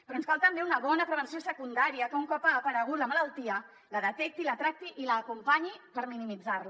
però ens cal també una bona prevenció secundària que un cop ha aparegut la malaltia la detecti la tracti i l’acompanyi per minimitzar la